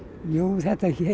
þetta